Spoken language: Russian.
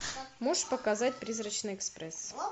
можешь показать призрачный экспресс